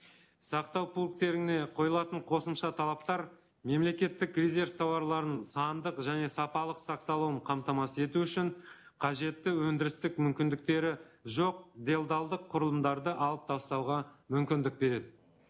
сақтау пункттеріне қойылатын қосымша талаптар мемлекеттік резерв тауарларын сандық және сапалық сақталуын қамтамасыз ету үшін қажетті өндірістік мүмкіндіктері жоқ делдалдық құрылымдарды алып тастауға мүмкіндік береді